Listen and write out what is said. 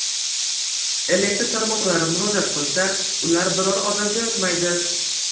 Elektr tarmoqlari murojaat qilsa, ular biror odam jo‘natmaydi.